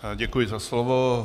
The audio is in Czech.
Děkuji za slovo.